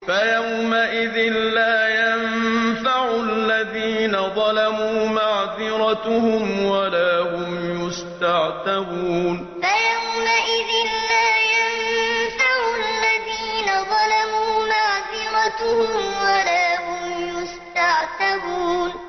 فَيَوْمَئِذٍ لَّا يَنفَعُ الَّذِينَ ظَلَمُوا مَعْذِرَتُهُمْ وَلَا هُمْ يُسْتَعْتَبُونَ فَيَوْمَئِذٍ لَّا يَنفَعُ الَّذِينَ ظَلَمُوا مَعْذِرَتُهُمْ وَلَا هُمْ يُسْتَعْتَبُونَ